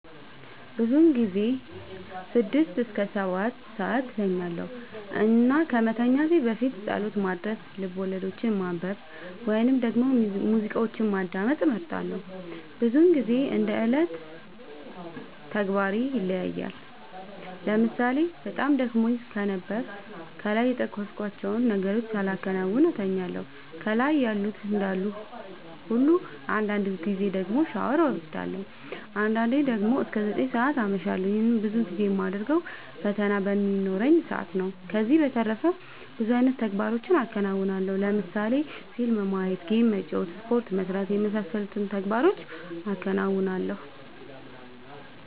ብዙ ጊዜ ስድስት እስከ ሰባትሰዓት እተኛለሁ እና ከመተኛት በፊት ፀሎት ማድረስ፣ ልቦለዶችን ማንበብ ወይም ደግሞ ሙዚቃዎችን ማዳመጥ እመርጣለሁ። ብዙ ግዜ እንደ የዕለት ተግባሬ ይለያያል ለምሳሌ በጣም ደክሞኝ ከነበረ ከላይ የጠቀስኳቸውን ነገሮች ሳላከናውን እተኛለሁ ከላይ ያሉት እንዳሉ ሁሉ አንዳንድ ጊዜ ደግሞ ሻወር ወስዳለሁ። አንዳንዴ ደግሞ እስከ ዘጠኝ ሰዓት አመሻለሁ ይህንንም ብዙ ጊዜ የማደርገው ፈተና በሚኖረኝ ሰአት ነው። ከዚህ በተረፈ ብዙ አይነት ተግባሮችን አከናወናለሁ ለምሳሌ ፊልም ማየት ጌም መጫወት ስፖርት መስራት የመሳሰሉት ተግባሮቹን አከናውናለሁ።